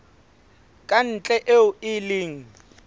ka ntle eo e leng